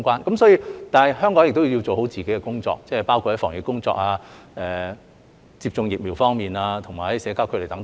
然而，香港也要做好自己的工作，包括防疫工作、接種疫苗和社交距離等。